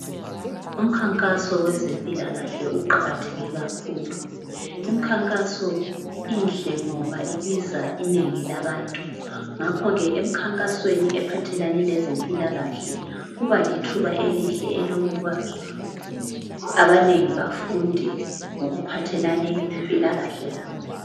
Umkhankaso wezempilakahle uqakatheke kakhulu imikhankaso inhle ngoba ibiza inengi labantu ngakho ke emkhankasweni ephathelane lezempilakahle kuba lithuba elihle elokuba abanengi bafunde okuphathelane lempilakahle yabo.